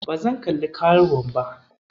Ba zan kalli karuwar ba.